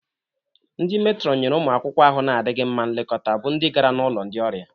Ndi Meetron nyere ụmụ akwụkwọ ahụ na-adịghị mma nlekọta bụ ndị gara n'ulo ndị ọrịa.